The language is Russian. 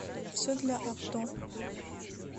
все для авто